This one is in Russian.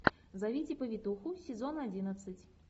зовите повитуху сезон одиннадцать